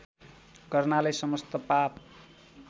गर्नाले समस्त पाप